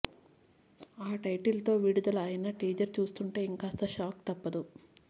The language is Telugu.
ఆ టైటిల్ తో విడుదల అయిన టీజర్ చూస్తుంటే ఇంకాస్త షాక్ తప్పదు